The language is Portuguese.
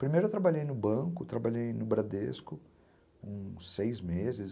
Primeiro eu trabalhei no banco, trabalhei no Bradesco, uns seis meses.